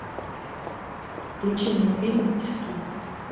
включи мне фильм тиски